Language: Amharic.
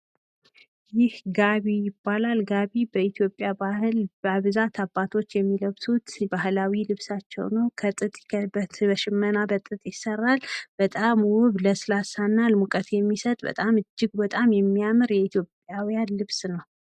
ይህ ጋቢ ይባላል ።ጋቢ በኢትዮጵያ ባህል በብዛት አባቶች የሚለብሱት ባህላዊ ልብሳቸው ነው ።ከጥጥ በሽመና ይሰራል። በጣም ወፍራምና ለስላሴ ሙቀት የሚሰጥ የኢትዮጵያዊያን ልብስ ነው ።